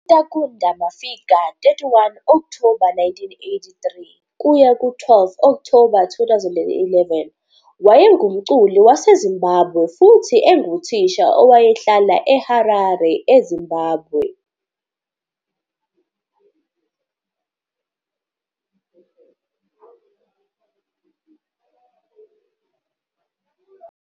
UTakunda Mafika, 31 Okthoba 1983 - 12 Okthoba 2011, wayengumculi waseZimbabwe futhi enguthisha owayehlala eHarare, eZimbabwe.